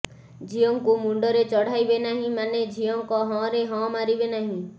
ଝିଅ ଙ୍କୁ ମୁଣ୍ଡରେ ଚଢାଇବେ ନାହିଁ ମାନେ ଝିଅ ଙ୍କ ହଁ ରେ ହଁ ମାରିବେ ନାହିଁ